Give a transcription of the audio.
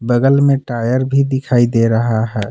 बगल में टायर भी दिखाई दे रहा है।